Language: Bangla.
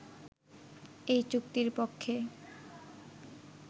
এই চুক্তির পক্ষে